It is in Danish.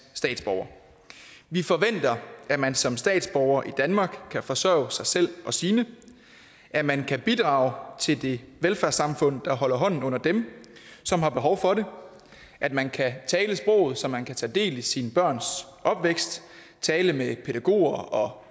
statsborger vi forventer at man som statsborger i danmark kan forsørge sig selv og sine at man kan bidrage til det velfærdssamfund der holder hånden under dem som har behov for det at man kan tale sproget så man kan tage del i sine børns opvækst tale med pædagoger og